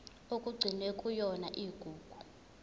okugcinwe kuyona igugu